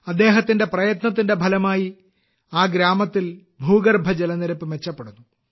അദ്ദേഹത്തിന്റെ പ്രയത്നത്തിന്റെ ഫലമായി ആ ഗ്രാമത്തിൽ ഭൂഗർഭ ജലനിരപ്പ് മെച്ചപ്പെടുന്നു